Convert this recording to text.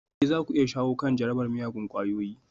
Ee za ku iya shawo kan jarabar miyagun ƙwayoyi